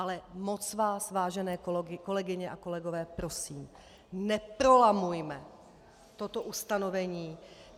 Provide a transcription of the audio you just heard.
Ale moc vás, vážené kolegyně a kolegové, prosím, neprolamujme toto ustanovení.